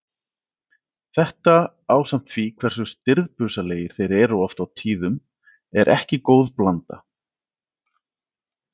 Þetta ásamt því hversu stirðbusalegir þeir eru oft á tíðum er ekki góð blanda.